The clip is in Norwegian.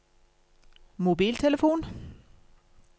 mobiltelefon